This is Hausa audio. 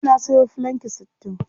Jiya na sayo filanki sittin.